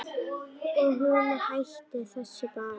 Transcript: Og hún hætti þessu bara.